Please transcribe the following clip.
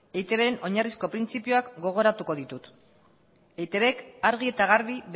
eitbren oinarrizko printzipioak gogoratuko ditut eitbk argi eta garbi